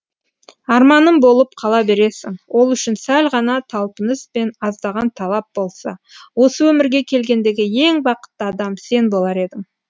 арманым болып қала бересің ол үшін сәл ғана талпыныс пен аздаған талап болса осы өмірге келгендегі ең бақытты адам сен болар едің